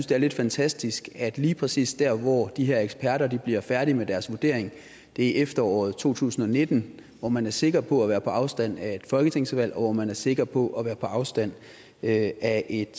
det er lidt fantastisk at lige præcis der hvor de her eksperter bliver færdige med deres vurdering er i efteråret to tusind og nitten hvor man er sikker på at være på afstand af et folketingsvalg og hvor man er sikker på at være på afstand af et